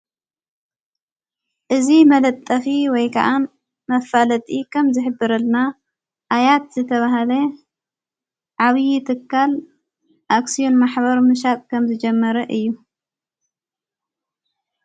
እዝ መለጠፊ ወይ ከዓን መፋለጢ ኸም ዝኅብረልና ኣያት ዘተብሃለ ዓብዪ እትካል ኣክስዩን ማኅበሩ ምሻቅ ከም ዝጀመረ እዩ።